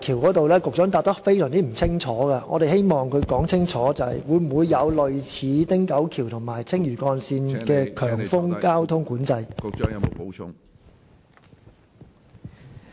我希望他清楚說明，港珠澳大橋會否像汀九橋及青嶼幹線般設有強風交通管制。